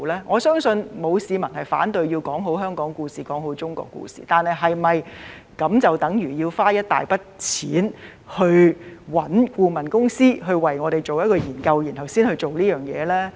我相信沒有市民反對要說好香港故事、說好中國故事，但是否就等如值得花一大筆錢委聘顧問公司為我們先做研究，然後才做這事呢？